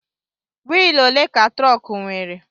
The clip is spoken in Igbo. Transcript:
Wịịlụ òlé ka trọọku nwèrè?